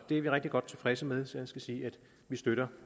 er vi rigtig godt tilfredse med så jeg skal sige at vi støtter